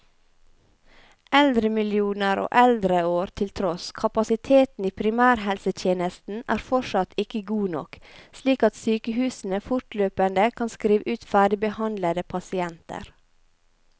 Eldremillioner og eldreår til tross, kapasiteten i primærhelsetjenesten er fortsatt ikke god nok, slik at sykehusene fortløpende kan skrive ut ferdigbehandlede pasienter.